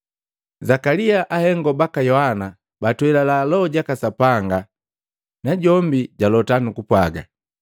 Zakalia ahengo baka Yohana batwelala Loho jaka Sapanga, najombi jalota, nukupwaga,